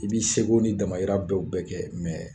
I b'i seko n'i damahira dow bɛɛ kɛ